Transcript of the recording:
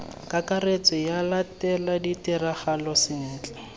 kakaretso ba latele ditiragalo sentle